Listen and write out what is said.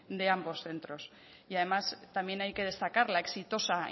de ambos centros y además también hay que destacar la exitosa